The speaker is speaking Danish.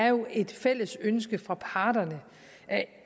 jo er et fælles ønske fra parterne